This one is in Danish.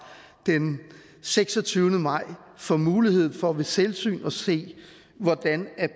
den seksogtyvende maj får mulighed for ved selvsyn at se hvordan